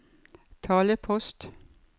talepost